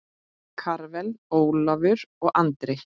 Karvel, Ólafur og Andri.